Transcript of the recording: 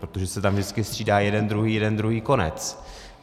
Protože se tam vždycky střídá jeden-druhý, jeden-druhý, konec.